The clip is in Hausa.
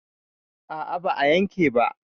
a a ba a yanke ba.